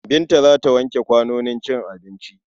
Binta za ta wanke kwanonin cin abinci.